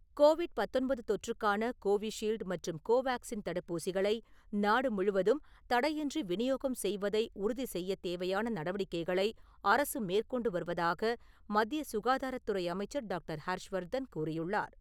Covid பத்தொன்பது தொற்றுக்கான Covishield மற்றும் கோவாக்ஸின் தடுப்பூசிகளை நாடு முழுவதும் தடையின்றி விநியோகம் செய்யவதை உறுதி செய்யத் தேவையான நடவடிக்கைகளை அரசு மேற்கொண்டு வருவதாக மத்திய சுகாதாரத்துறை அமைச்சர் டாக்டர். ஹர்ஷ்வர்தன் கூறியுள்ளார்.